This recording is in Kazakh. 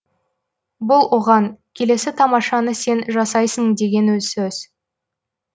бұл оған келесі тамашаны сен жасайсың деген сөз